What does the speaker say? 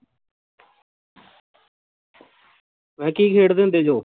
ਮੈਂ ਕਿਹਾ ਕੀ ਖੇਡਦੇ ਹੁੰਦੇ ਜੋ